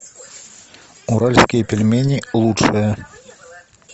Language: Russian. уральские пельмени лучшее